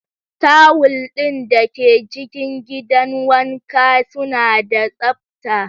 Tawul ɗin da ke cikin gidan wanka suna da tsabta.